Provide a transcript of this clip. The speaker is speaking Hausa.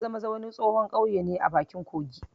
Maza-maza wani tsohon ƙauye ne a bakin kogi